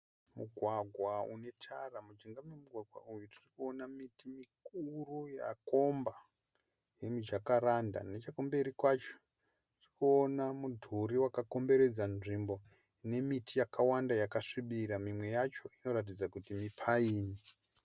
Mugwagwa unetara. Mujinga memugwagwa uyu tiri kuona miti mikuru yakomba yemiJakaranda, nechekumberi kwacho tiri kuona mudhuri wakakomberedza nzvimbo nemiti yakawanda yakasvibira, mimwe yacho inooratidza kuti miPine